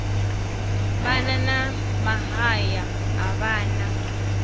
vhana na mahaya a vhana